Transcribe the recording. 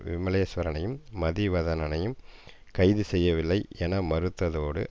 விமலேஸ்வரனையும் மதிவதனனையும் கைது செய்யவில்லை என மறுத்ததோடு